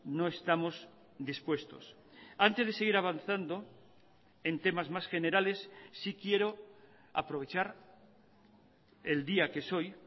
no estamos dispuestos antes de seguir avanzando en temas más generales sí quiero aprovechar el día que es hoy